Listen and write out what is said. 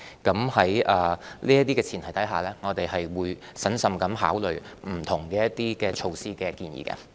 在這些前提下，我們會審慎考慮對不同措施的建議。